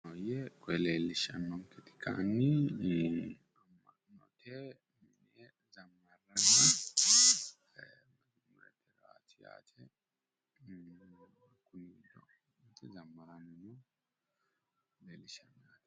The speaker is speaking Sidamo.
Koye leellishshaanketi kayinni amma'note mine zammarranna mazummurete. Kunino zammaranni no yaate.